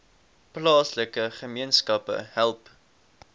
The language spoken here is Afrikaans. plaaslike gemeenskappe help